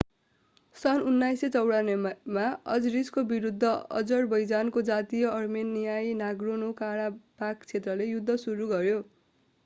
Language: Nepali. सन् १९९४ मा अजरिसको विरूद्ध अजरबैजानको जातीय अर्मेनियाई नागोर्नो-काराबाख क्षेत्रले युद्ध सुरु गर्‍यो।